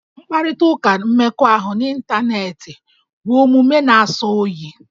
Mkparịtaụka mmekọahụ n'ịntaneetị bụ omume na-asọ oyi